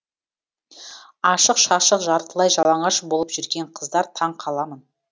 ашық шашық жартылай жалаңаш болып жүрген қыздар таң қаламын